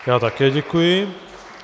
Já také děkuji.